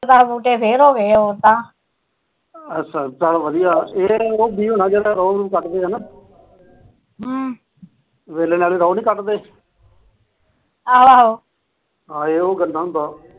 ਅੱਛਾ ਚੱਲ ਵਧੀਆਂ ਇਹ ਉਹ ਬੀਜ ਹੋਣਾ ਕੱਢਦੇ ਹਨਾ ਹਮ ਵੇਲੇ ਨਾਲ ਰੋਹ ਨੀ ਕੱਢਦੇ ਆਹੋ ਆਹੋ ਇਹ ਉਹ ਗੰਨਾ ਹੁੰਦਾ